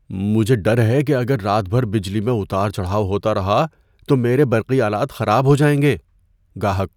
مجھے ڈر ہے کہ اگر رات بھر بجلی میں اتار چڑھاؤ ہوتا رہا تو میرے برقی آلات خراب ہو جائیں گے۔ (گاہک)